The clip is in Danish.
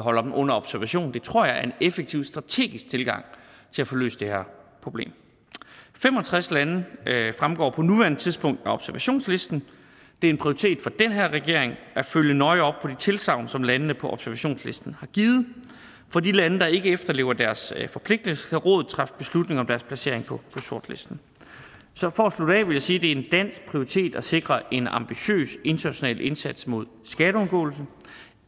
holder dem under observation tror jeg er en effektiv strategisk tilgang til at få løst det her problem fem og tres lande fremgår på nuværende tidspunkt af observationslisten det er en prioritet for den her regering at følge nøje op på de tilsagn som landene på observationslisten har givet for de lande der ikke efterlever deres forpligtelser kan rådet træffe beslutninger om deres placering på sortlisten så for at slutte af vil jeg sige det en dansk prioritet at sikre en ambitiøs international indsats mod skatteundgåelse